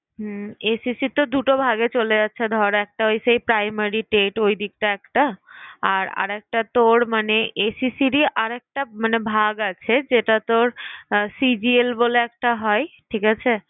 হম SSC তো দুটো ভাগে চলে যাচ্ছে ধর একটা ওই Primary TET ওই দিকটা একটা আর আরেকটা তোর মানে SSC র আর একটা ভাগ আছে যেটা তোর CGL বলে একটা হয়। ঠিক আছে?